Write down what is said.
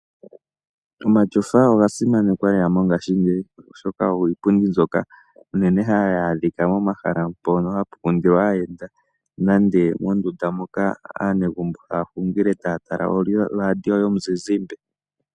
Omatyofa oga simanekwa lela mongaashingeyi, oshoka ogo iipundi mbyoka hayi adhika pomahala mpono hapu kundilwa aayenda nande mondunda moka aanegumbo haya hungile taya tala oradio yomuzizimbe.